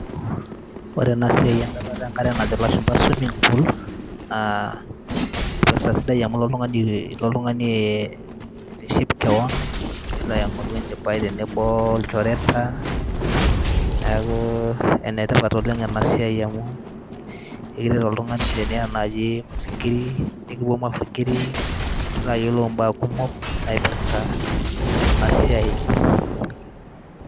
Ore ena siai endata enkare najo ilashumba swimmming pool aa sidai amu ilo oltung'ani aitiship keon nilo aing'oru enchipai tenebo wolchoreta, neeku ene tipat oleng' ena siai amu oltung'ani teniyata nai mafikiri nepuo mafikiri nilo ayolou imbaa kumok naipirta ena siai enkare.